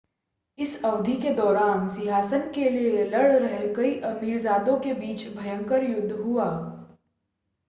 इस अवधि के दौरान सिंहासन के लिए लड़ रहे कई अमीरजादों के बीच भयंकर युद्ध हुआ